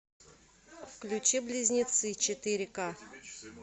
включи близнецы четыре ка